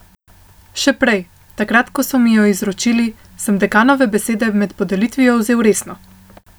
Še prej, takrat ko so mi jo izročili, sem dekanove besede med podelitvijo vzel resno.